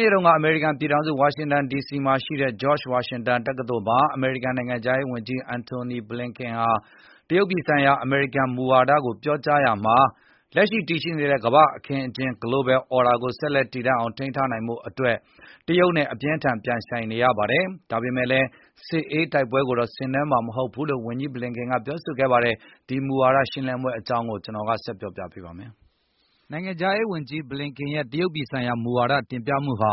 နေ့က အမေရိကန်ပြည်ထောင်စု ဝါရှင်တန်ဒီစီမှာရှိတဲ့ George Washington University တက္ကသိုလ်မှာ အမေရိကန်နိုင်ငံခြားရေးဝန်ကြီး Antony Blinken က တရုတ်ပြည်ဆိုင်ရာ အမေရိကန်မူဝါဒကို ပြောကြားရာမှာ၊ “လက်ရှိတည်ရှိနေတဲ့ ကမ္ဘာ့အခင်းအကျင်း Global Order ကို ဆက်လက် တည်တန့်အောင်ထိန်းထား နိုင်ဖို့အတွက် တရုတ်နဲ့ အပြင်းအထန်ပြိုင်ဆိုင်နေရပါတယ်။ ဒါပေမယ့်လည်း စစ်အေး တိုက်ပွဲကိုတော့ ဆင်နွှဲမှာမဟုတ်ဘူးလို့ ဝန်ကြီး Blinken ကပြောဆိုလိုက်ပါတယ်။ ကိုဇော်မိုးကျော်ကဆက်လက်တင်ပြပါမယ်။ နိုင်ငံခြားရေးဝန်ကြီး Blinken ရဲ့တရုတ်ပြည်ဆိုင်ရာမူဝါဒ တင်ပြမှုဟာ